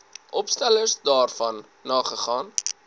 opstellers daarvan nagegaan